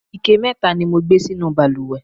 ike mẹta ni mo gbé sínú ìbalùwẹ̀